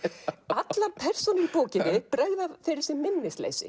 allar persónur í bókinni bregða fyrir sig minnisleysi